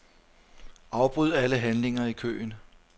Afbryd alle handlinger i køen.